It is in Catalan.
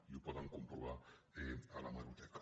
i ho poden comprovar a l’hemeroteca